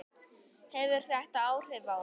Hefur þetta áhrif á þau?